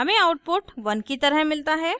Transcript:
हमें आउटपुट 1 की तरह मिलता है